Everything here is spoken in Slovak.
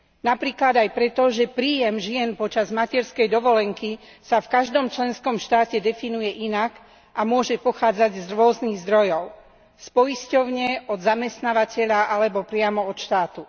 Napríklad aj preto, že príjem žien počas materskej dovolenky sa v každom členskom štáte definuje inak a môže pochádzať z rôznych zdrojov z poisťovne, od zamestnávateľa alebo priamo od štátu.